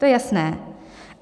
To je jasné.